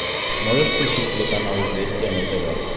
можешь включить телеканал известия на тв